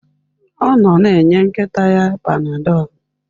Ọ nọ na-enye nkịta ya Panadol.